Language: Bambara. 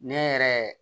Ne yɛrɛ